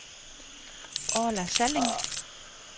Orla Salling